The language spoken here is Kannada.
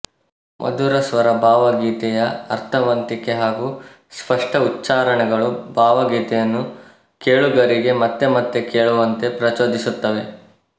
ಮಧುರಸ್ವರ ಭಾವ ಗೀತೆಯ ಅರ್ಥವಂತಿಕೆ ಹಾಗೂ ಸ್ಪಷ್ಟ ಉಚ್ಚಾರಣೆಗಳು ಭಾವಗೀತೆಯನ್ನು ಕೇಳುಗರಿಗೆ ಮತ್ತೆಮತ್ತೆ ಕೇಳುವಂತೆ ಪ್ರಚೋದಿಸುತ್ತವೆ